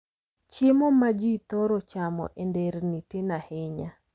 Chiemo ma ji thoro chamo e nderni tin ahinya.